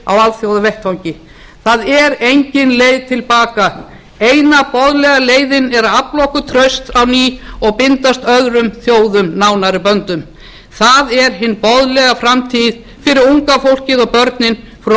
alþjóðavettvangi það er engin leið til baka eina boðlega leiðin er að afla okkur trausts á ný og bindast öðrum þjóðum nánari böndum það er hin boðlega framtíð fyrir unga fólkið og börnin fyrir